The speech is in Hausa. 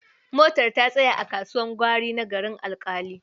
Motar ta tsaya kasuwar gwari na Garin Alƙali.